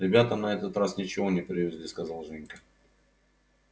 ребята на этот раз ничего не привезли сказал женька